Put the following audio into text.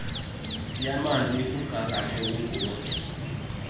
yamanzi ikumgangatho onguwo